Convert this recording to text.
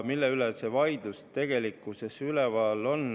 Mille üle see vaidlus tegelikult käib?